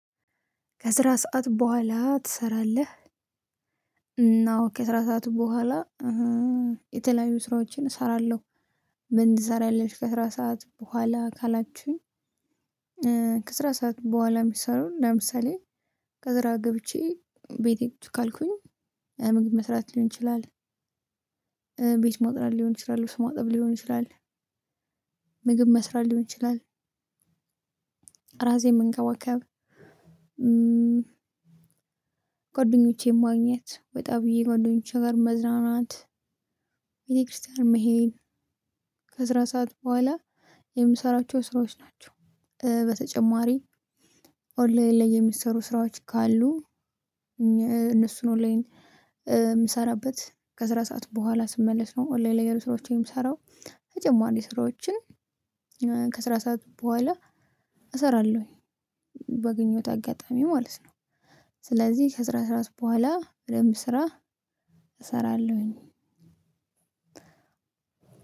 ከስራ ሰዓት ቦኋላ ትሰራለህ? እና አዎ ከስራ ሰዓት ቦኃላ የተለያዩ ስራዎችን እሰራለሁ። ምን ትሰራለሽ ከስራ ሰዓት ቦኃላ ካላቹኝ? ከስራ ሰዓት ቦኃላ ምሰሩ ለምሳሌ ከስራ ገብቼ ቤቴ ቁጭ ካልኩኝ ምግብ መስራት ልሆን ይችላል። ቤት ማጽዳት ልሆን ይችላል ልብስ ማጠብ ልሆን ይችላል። ምግብ መስራት ልሆን ይችላል። ራሴን መንከባከብ ጓደኞቼን ማግኘት ወጣ ብዬ ጓደኞቼ ጋር መዝናናት። ቤተ ክርስትያን መሄድ። ከስራ ሰዓት ቦኋላ የምሰራቸው ስራዎች ናቸው። በተጨማሪ ኦንላይን ላይ የሚሰሩ ስራዎች ካሉ? እነሱን ኦንላይን የምሰራበት ከስራ ሰዓት ቦኋላ ስመለስ ነው ኦንላይን ላይ ስራዎችን የምሰራው። ተጨማሪ ስራዎችን ከስራ ሰዓት ቦኋላ እሰራለሁኝ ባገኘሁት አጋጣሚ ማለት ነው። ስለዚህ ከስራ ሰዓት ቦኋላ በደንብ ስራ እሰራለሁኝ።